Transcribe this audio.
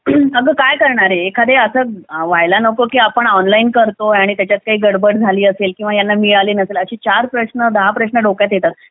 अगं काय करणारे एखाद्यावेळेस असं व्हायला नको की आपण ऑनलाइन करतो आणि त्याच्यात काही गडबड झाली असेल किंवा यांना मिळाली नसेल असे चार प्रश्न दहा प्रश्न डोक्यात येतात